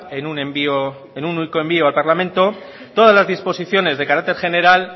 en un único envío al parlamento todas las disposiciones de carácter general